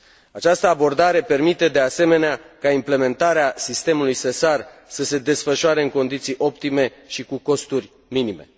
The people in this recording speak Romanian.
Această abordare permite, de asemenea, ca implementarea sistemului SESAR să se desfășoare în condiții optime și cu costuri minime.